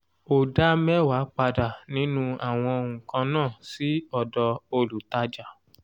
o dá mẹ́wàá padà nínú àwọn nǹkàn náà sì ọ̀dọ̀ olùtájà.